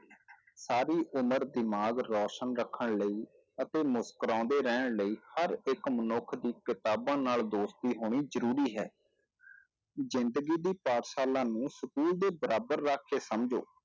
ਸਾਰੀ ਉਮਰ ਦਿਮਾਗ ਰੌਸ਼ਨ ਰੱਖਣ ਲਈ ਅਤੇ ਮੁਸਕੁਰਾਉਂਦੇ ਰਹਿਣ ਲਈ ਹਰ ਇੱਕ ਮਨੁੱਖ ਦੀ ਕਿਤਾਬਾਂ ਨਾਲ ਦੋਸਤੀ ਹੋਣੀ ਜ਼ਰੂਰੀ ਹੈ, ਜ਼ਿੰਦਗੀ ਦੀ ਪਾਠਸ਼ਾਲਾ ਨੂੰ school ਦੇ ਬਰਾਬਰ ਰੱਖ ਕੇ ਸਮਝੋ।